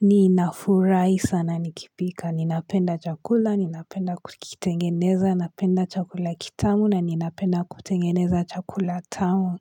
Ninafurahi sana nikipika. Ninapenda chakula, ninapenda kukitengeneza, napenda chakula kitamu na ninapenda kutengeneza chakula tamu.